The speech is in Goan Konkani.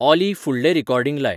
ऑली फुडलें रीकॉर्डींग लाय